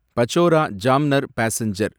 Pachora Jamner passenger